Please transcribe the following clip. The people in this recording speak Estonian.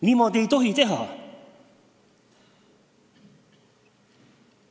Niimoodi ei tohi teha!